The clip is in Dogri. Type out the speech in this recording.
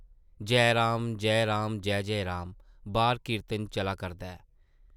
‘जै राम, जै राम, जै-जै राम...’ बाह्र कीर्तन चला करदा ऐ ।